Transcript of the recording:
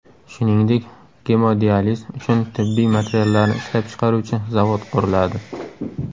Shuningdek, gemodializ uchun tibbiy materiallarni ishlab chiqaruvchi zavod quriladi.